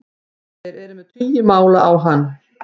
Þeir eru með tugi mála á hann